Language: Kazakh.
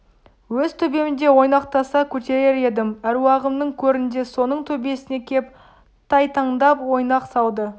өз төбемде ойнақтаса көтерер едім әруағымның көрінде соның төбесіне кеп тайтаңдап ойнақ салды